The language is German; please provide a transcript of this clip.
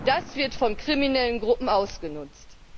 Das wird von kriminellen Gruppen ausgenutzt.